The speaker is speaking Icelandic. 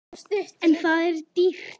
En það er dýrt.